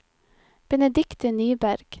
Benedikte Nyberg